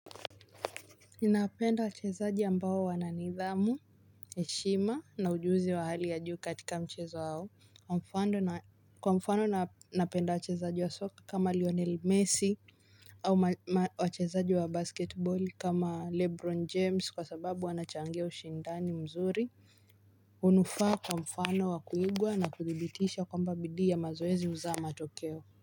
Ninapenda wachezaji ambao wananidhamu, heshima na ujuzi wa hali ya juu katika mchezo wao. Kwa mfano napenda wachezaji wa soka kama Lionel Messi au wachezaji wa basketboli kama Lebron James kwa sababu wanachangia ushindani mzuri. Unufaa kwa mfano wa kuigwa na kuthibitisha kwamba bidii ya mazoezi uzaa matokeo.